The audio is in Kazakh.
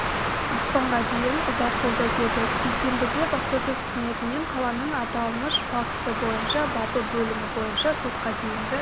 ақпанға дейін ұзартылды деді бейсенбіде баспасөз қызметінен қаланың аталмыш факті бойынша бабы бөлімі бойынша сотқа дейінгі